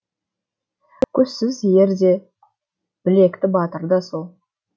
көзсіз ер де білекті батыр да сол